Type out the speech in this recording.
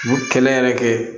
U kɛlɛ yɛrɛ kɛ